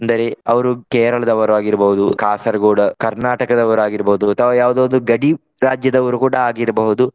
ಅಂದರೆ ಅವರು ಕೇರಳದವರು ಆಗಿರಬಹುದು ಕಾಸರಗೋಡು ಕರ್ನಾಟಕದವರು ಆಗಿರ್ಬೋದು. ಅಥವಾ ಯಾವುದಾದರೂ ಗಡಿ ರಾಜ್ಯದವರು ಕೂಡ ಆಗಿರಬಹುದು.